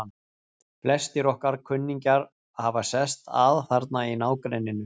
Flestir okkar kunningjar hafa sest að þarna í nágrenninu.